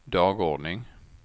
dagordning